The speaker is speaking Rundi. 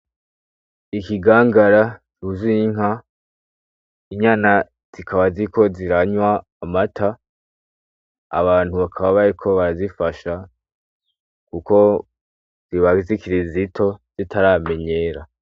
Ikigangara cuzuye inka ,inyana zikaba ziranwa amata ,abantu bakaba bariko barazifasha kuko ziba zikiri zito zitaramenyera